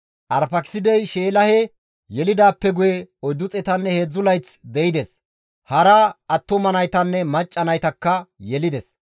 Arfaakisidey Sheelahe yelidaappe guye 403 layth de7ides; hara attuma naytanne macca naytakka yelides.